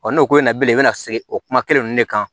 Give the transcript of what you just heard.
n'o ko nin ye bilen i bɛna se o kuma kelen ninnu de kan